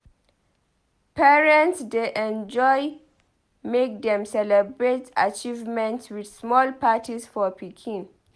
Parents dey enjoy make dem celebrate achievements with small parties for pikin.